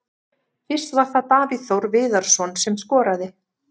Fyrst var það Davíð Þór Viðarsson sem skoraði.